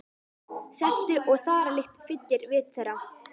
Seltu- og þaralykt fyllir vit þeirra.